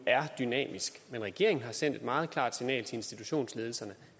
er dynamisk men regeringen har sendt et meget klart signal til institutionsledelserne